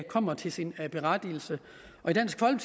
kommer til sin ret